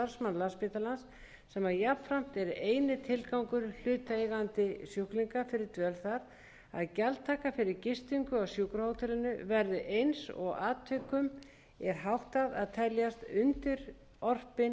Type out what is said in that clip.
landspítalans sem jafnframt er eini tilgangur hlutaðeigandi sjúklinga fyrir dvöl þar að gjaldtaka fyrir gistingu á sjúkrahótelinu verði eins og atvikum er háttað að teljast undirorpin almennum reglum um